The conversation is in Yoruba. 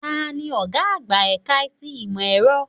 Tani ọ̀gá àgbà ẹ̀ka ti ìmọ̀ ẹ̀rọ?